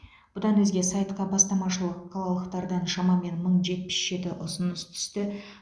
бұдан өзге сайтқа бастамашыл қалалықтардан шамамен мың жетпіс жеті ұсыныс түсті